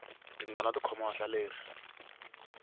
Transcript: tingana ti khoma vahlaleri